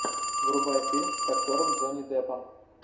врубай фильм с актером джонни деппом